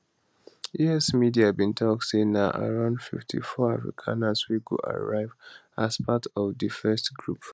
us media bin tok say na around 54 afrikaners wey go arrive as part of di first group